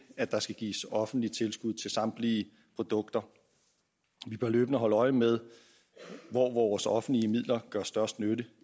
at der skal gives offentlige tilskud til samtlige produkter vi bør løbende holde øje med hvor vores offentlige midler gør størst nytte